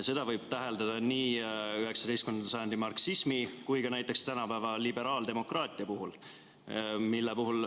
Seda võib täheldada nii 19. sajandi marksismi kui ka näiteks tänapäeva liberaaldemokraatia puhul.